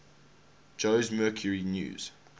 jose mercury news